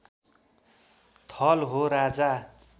थल हो राजा